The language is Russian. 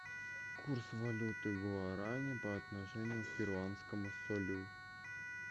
курс валюты гуарани по отношению к перуанскому солю